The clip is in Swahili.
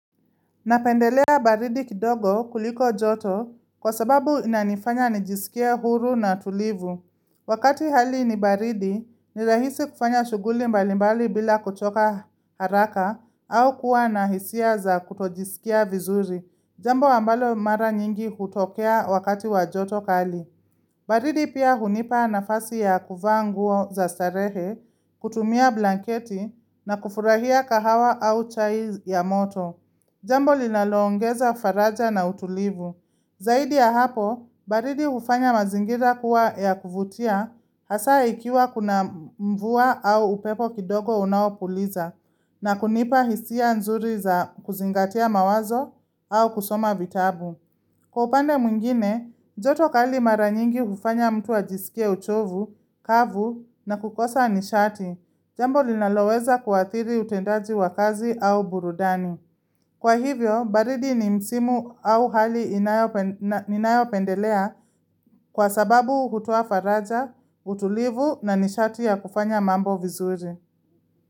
Napendelea baridi kidogo kuliko joto kwa sababu inanifanya nijisikie huru na tulivu. Wakati hali ni baridi, ni rahisi kufanya shughuli mbalimbali bila kuchoka haraka au kuwa na hisia za kutojisikia vizuri. Jambo ambalo mara nyingi hutokea wakati wa joto kali. Baridi pia hunipa nafasi ya kuvaa nguo za starehe, kutumia blanketi na kufurahia kahawa au chai ya moto. Jambo linaloongeza faraja na utulivu. Zaidi ya hapo, baridi ufanya mazingira kuwa ya kuvutia hasa ikiwa kuna mvua au upepo kidogo unaopuliza na kunipa hisia nzuri za kuzingatia mawazo au kusoma vitabu. Kwa upande mwingine, joto kali mara nyingi kufanya mtu ajisikie uchovu, kavu na kukosa nishati, jambo linaloweza kuadhiri utendaji wa kazi au burudani. Kwa hivyo, baridi ni msimu au hali ninayopendelea kwa sababu hutoa faraja, utulivu na nishati ya kufanya mambo vizuri.